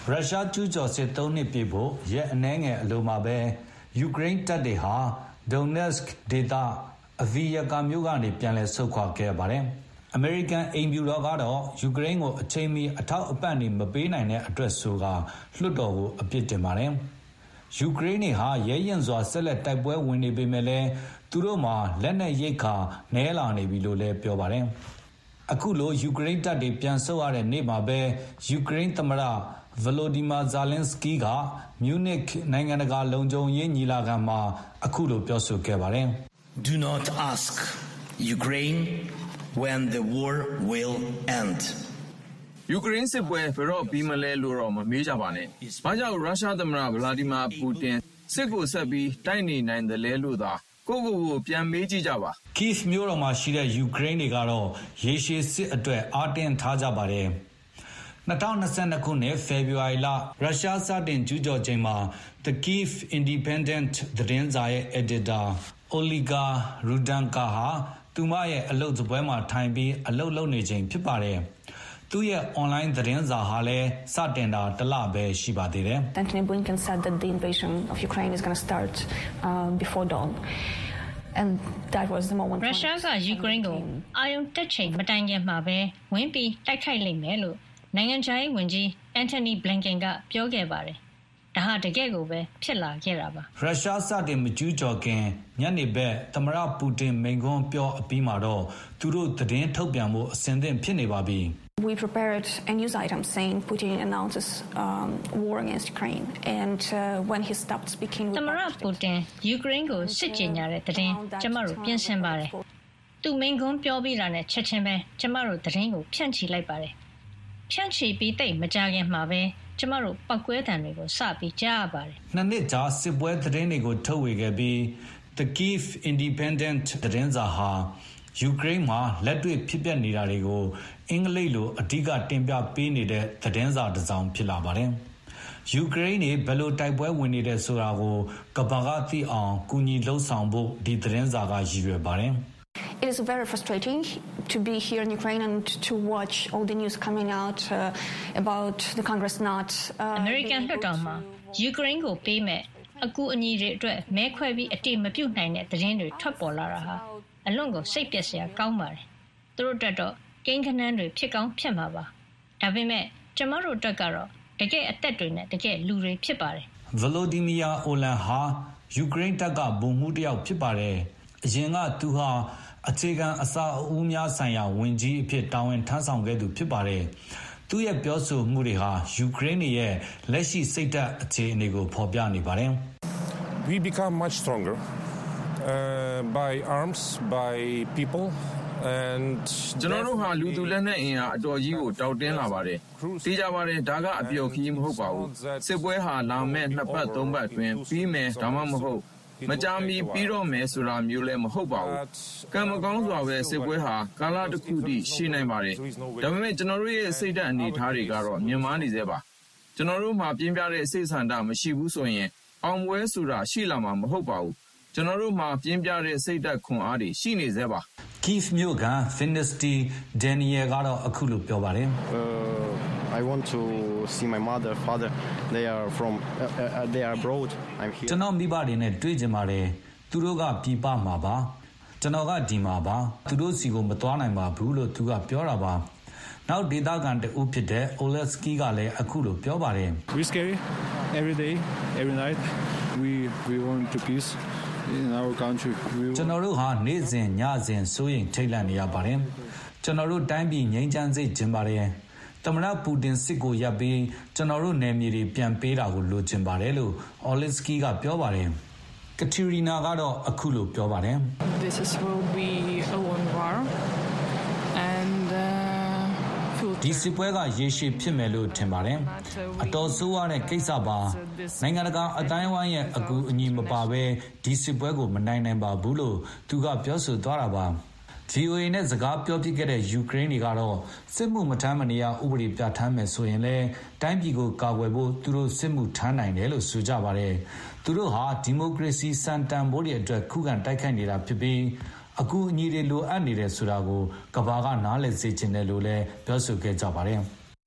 ရုရှားကျူးကျော်စစ် ၃ နှစ်ပြည့်ဖို့ ရက်အနည်းငယ်အလိုမှာပဲ ယူကရိန်းတပ်တွေဟာ Donetsk ဒေသ၊ Adviivak မြို့ကနေပြန်လည်ဆုတ်ခွါခဲ့ရပါတယ်။ အမေရိကန်အိမ်ဖြူတော်ကတော့ ယူကရိန်းကိုအချိန်မှီ အထောက်အပံ့တွေမပေးနိုင်တဲ့အတွက်လို့ဆိုပြီး လွှတ်တော်ကို အပြစ်တင်ပါတယ်။ ယူကရိန်းတွေဟာ ရဲရဲရင့်ရင့် ဆက်လက်တိုက်ပွဲဝင်နေပေမယ့်လည်း သူတို့မှာ လက်နက်ရိက္ခာနည်း လာနေပြီလို့လည်း ပြောပါတယ်။ အခုလို ယူကရိန်းတပ်တွေပြန်ဆုတ်ရတဲ့နေ့မှာပဲ ယူကရိန်းသမ္မတ ဗလိုဒီမာဇာလင်းစကီးက မြူနစ်နိုင်ငံတကာလုံခြုံရေးညီလာခံမှာ အခုလိုပြောဆိုခဲ့ပါတယ်။ “ယူကရိန်းစစ်ပွဲ ဘယ်တော့ပြီးမလဲလို့ မမေးပါနဲ့။ ဘာကြောင့် ရုရှားသမ္မတ ဗလာဒီမာပူတင် စစ်ကိုဆက်ပြီးတိုက်နေနိုင်သေးတာလဲလို့သာ-ကိုယ့်ကိုယ်ကိုပြန်မေးကြပါ။” Kyi မြို့တော်မှာရှိတဲ့ ယူကရိန်းတွေကတော့ ရေရှည်စစ်အတွက် အားတင်းထားကြပါတယ်။ ၂၀၂၂ ခုနှစ် ဖေဖေါ်ဝါရီလ ရုရှားစတင်ကျူးကျော်ချိန်မှာ The Kyivy Independent သတင်းစာရဲ့အယ်ဒီတာ Olga Rudenko ဟာ သူမရဲ့အလုပ်စားပွဲမှာထိုင်ပြီး အလုပ်လုပ်နေချိန်ဖြစ်ပါတယ်။ သူ့ရဲ့အွန်လိုင်းသတင်းစာ စတင်တာဟာလည်းတလပဲ ရှိပါသေးတယ်။ “ရုရှားက ယူကရိန်းကို အာရုံတက်ချိန်မတိုင်မီ ဝင်ရောက်တိုက်ခိုက်လိမ့်မယ်လို့ နိုင်ငံခြားရေးဝန်ကြီး Antony Blinken ပြောခဲ့ပါတယ်။ ဒါဟာ တကယ်ကိုပဲ ဖြစ်လာခဲ့ပါတယ်။” ရုရှားစတင်မကျူးကျော်ခင် ညနေဘက် သမ္မတပူတင်မိန့်ခွန်းပြောအပြီးမှာတော့ သူတို့သတင်းထုတ်ပြန်ဖို့ အဆင်သင့်ဖြစ်နေပါပြီ။ “သမ္မတပူတင် ယူကရိန်းကိုစစ်ကြေညာတဲ့သတင်း ကျမတို့ပြင်ဆင်ပါတယ်။ သူမိန့်ခွန်းပြောပြီးတာနဲ့ ချက်ခြင်း ကျမတို့ သတင်းကိုဖြန့်ချီလိုက်ပါတယ်။ အဲဒိအချိန်နဲ့သိပ်မကြခင်မှာပဲ ကျမတို့ ပေါက်ကွဲသံတွေစကြားရပါတယ်။” ၂ နှစ်ကြာစစ်ပွဲသတင်းတွေကို ထုတ်ပြန်ဝေခဲ့ပြီး The Kyiv Independent သတင်းစာဟာ ယူကရိန်းမှာ လက်တွေ့ဖြစ်ပျက်နေတာတွေကို အင်္ဂလိပ်လိုအဓိက တင်ပြပေးနေတဲ့သတင်းစာတစောင်ဖြစ်လာပါတယ်။ ယူကရိန်းတွေဘယ်လို တိုက်ပွဲဝင်နေတယ်ဆိုတာကို ကမ္ဘာကသိအောင် ကူညီလုပ်ဆောင်ဖို့ ဒီသတင်းစာက အဓိကရည်ရွယ်ပါတယ်။ “အမေရိကန်လွှတ်တော်မှာ ယူကရိန်းကိုပေးမယ့် အကူအညီတွေအတွက် မဲခွဲအတည်မပြုနိုင်တဲ့သတင်းတွေထွက်ပေါ်လာတာဟာ အလွန်စိတ်ပျက်စရာကောင်းပါတယ်။ သူတို့အတွက်ကတော့ ကိန်းဂဏန်းတွေဖြစ်ကောင်းဖြစ်မှာပါ။ ဒါပေမယ့် ကျမတို့အတွက်ကတော့ တကယ့်အသက်တွေနဲ့ တကယ့်လူတွေဖြစ်ပါတယ်။” ဗလိုဒီမီယာ အိုမန် ဟာ ယူကရိန်းတပ်က ဗိုလ်မှူးတယောက်ဖြစ်ပါတယ်။ အရင်က သူဟာ အခြေခံအဆောက်အဦးများဆိုင်ရာဝန်ကြီးအဖြစ် တာဝန်ထမ်းဆောင်ခဲ့သူဖြစ်ပါတယ်။ သူ့ရဲ့ပြောဆိုမှုတွေဟာ ယူကရိန်းတွေရဲ့ လက်ရှိစိတ်ဓာတ်အခြေအနေကိုဖေါ်ပြနေပါတယ်။ “ကျနော်တို့ဟာ လူသူလက်နက်အင်အား အတော်ကြီးကိုတောင့်တင်းလာပါတယ်။ သေချာပါတယ်။ ဒါကအပျော်ခရီး မဟုတ်ပါဘူး။ စစ်ပွဲဟာ လာမယ့်နှစ်ပတ်သုံးပတ်အတွင်းပြီးမယ်၊ ဒါမှမဟုတ် မကြာမီပြီးတော့မယ်ဆိုတာမျိုးလည်း မဟုတ်ပါဘူး။ ကံမကောင်းစွာပဲ စစ်ပွဲဟာ ကာလတခုအထိရှည်နိုင်ပါတယ်။ ဒါပေမယ့် ကျနော်တို့ရဲ့စိတ်ဓာတ်အနေအထားတွေက မြင့်မားနေဆဲဖြစ်ပါတယ်။ ကျနော်တို့မှာ ပြင်းပြတဲ့စိတ်ဆန္ဒမရှိဘူးဆိုရင် အောင်ပွဲဆိုတာ ရှိမှာမဟုတ်ပါဘူး၊ ကျနော်တို့မှာပြင်းပြတဲ့စိတ်ဓာတ်ခွန်အားတွေရှိပါတယ်။” Kyi မြို့ခံ Daniil Vinnytsy ကတော့အခုလိုပြောပါတယ်။ “ကျနော့မိဘတွေနဲ့တွေ့ချင်ပါတယ်။ သူတို့ကပြည်ပမှာပါ။ ကျနော်ကဒီမှာပါ။ ကျနော်က သူတို့ဆီကိုမသွားနိုင်ပါဘူး။” နောက်ဒေသခံတဦးဖြစ်တဲ့ Oleksyi ကလည်းအခုလိုပြောပါတယ်။ “ကျနော်တို့ဟာ နေ့စဉ်၊ ညစဉ် စိုးရိမ်ထိတ်လန့်နေရပါတယ်။ ကျနော်တို့တိုင်းပြည်ငြိမ်းချမ်းစေ့ချင်ပါတယ်။ သမ္မတပူတင်စစ်ကိုရပ်ပြီး ကျနော်တို့နယ်မြေတွေ ပြန်ပေးတာလိုချင်ပါတယ်။” Kateryna ကတော့အခုလို ပြောပါတယ်။ "ဒီစစ်ပွဲက ရေရှည်ဖြစ်မယ်လို့ထင်ပါတယ်။ အတော်ဆိုးဝါးတဲ့ကိစ္စပါပဲ။ နိုင်ငံတကာအသိုင်းအဝိုင်းရဲ့အကူအညီမပါဘဲ ကျမတို့ဒီစစ်ပွဲကိုမနိုင်နိုင်ပါဘူး။" VOA နဲ့စကားပြောဖြစ်ခဲ့တဲ့ ယူကရိန်းတွေကတော့ စစ်မှုမထမ်းမနေရဥပဒေပြဌာန်းမယ်ဆိုရင်လည်း တိုင်းပြည်ကို ကာကွယ်ဖို့ သူတို့ စစ်မှုထမ်းနိုင်တယ်လို့ဆိုကြပါတယ်။ သူတို့ဟာ ဒီမိုကရေစီစံတန်ဘိုးတွေအတွက် ခုခံတိုက်ခိုက်နေတာ ဖြစ်ပြီး အကူအညီတွေလိုအပ်တယ်ဆိုတာကို ကမ္ဘာကနားလည်စေ့ချင်တယ်လို့ပြောဆိုခဲ့ကြပါတယ်။